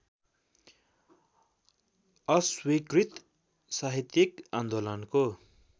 अस्वीकृत साहित्यिक आन्दोलनको